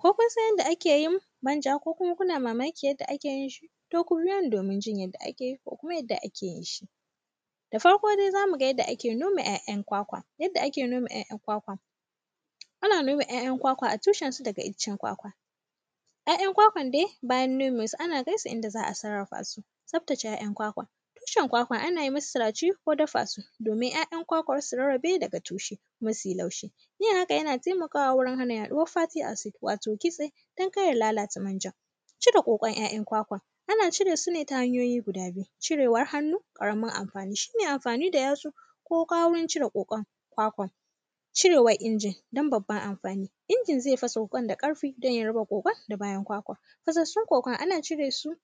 Ko kun san yanda ake yin manja ko kuma kuna mamakin yanda ake yin shi, to ku biyo ni domin jin yadda ake ko kuma yadda ake yin shi. Da farko de, za mu ga yadda ake noma ‘ya’yan kwakwa, yanda ake noma ‘ya’yan kwakwa. Ana noma ‘ya’yan kwakwa a tushenku daga iccen kwakwa. “Ya’yan kwakwan de, bayan nome su, ana kai su inda za a sarrafa su. Tsaftace ‘ya’yan kwakwa, tushen kwakwa, ana yi musu siraci ko dafa su, domin ‘ya’yan kwakwan su rarrabe daga tushe, kuma si laushi. Yin haka, yana temaka wa wajen hana yaɗuwar “faty acid”, wato kitse, don kar ya lalata manjan. Cire ƙoƙon ‘ya’yan kwakwan, ana cire su ne ta hanyoyi guda biyu, cirewar hannu, ƙaramin amfani. Shi ne amfani da yatsu ko wuƙa wurin cire ƙoƙon kwakwan. Cirewan injin, don babban amfani, injin ze faso ƙwan da ƙarfi, don ya raba ƙoƙon da bayan kwakwan. Fasassun kwakwan, ana cire su,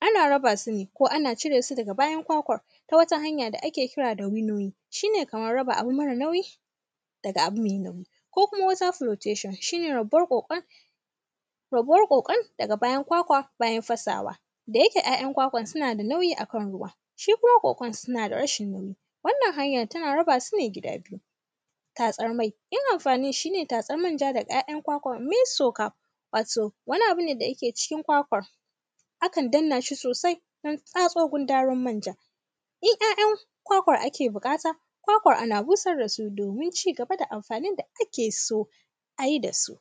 ana raba su ne, ko ana cire su daga bayan kwakwan ko wata hanya da ake kira da “winowing”, shi ne kamar raba abu mara nauyi daga abu mai nauyi. Ko kuma, ko kuma “whether protation”, shi ne rabuwar ƙoƙon, rabuwar ƙoƙon daga bayan kwakwa, bayan fasawa. Da yake ‘ya’yan kwakwan suna da nauyi a kan ruwa, su kuma ƙoƙon, suna da rashin nauyi. Wannan hanyan, tana raba su ne gida biyu. Tatsar mai, yin amfani shi ne tatsan manja daga ‘ya’yan kwakwan “Meyussoka”, wato, wani abu ne da yake cikin kwakwan. Akan danna shi sosai, don tatso gundarin manja. In ‘ya’yan kwakwan ake biƙata, kwakwar ana busar da su domin ci gaba da amfanin da ake so a yi da su.